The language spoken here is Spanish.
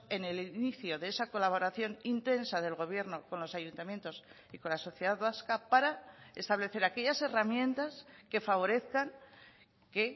en el inicio de esa colaboración intensa del gobierno con los ayuntamientos y con la sociedad vasca para establecer aquellas herramientas que favorezcan que